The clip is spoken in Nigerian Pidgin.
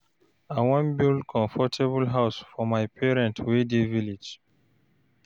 I wan build comfortable house for my parents wey dey village.